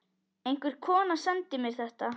Einhver kona sendi mér þetta.